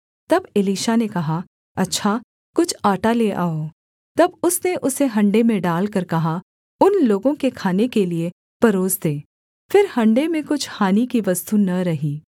तब एलीशा ने कहा अच्छा कुछ आटा ले आओ तब उसने उसे हण्डे में डालकर कहा उन लोगों के खाने के लिये परोस दे फिर हण्डे में कुछ हानि की वस्तु न रही